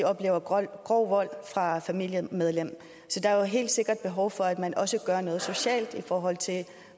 oplever grov vold fra et familiemedlem så der er jo helt sikkert behov for at man også gør noget socialt i forhold til